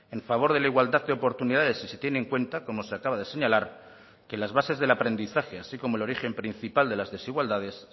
en favor de la igualdad de oportunidades si se tiene en cuenta como se acaba de señalar que las bases del aprendizaje así como el origen principal de las desigualdades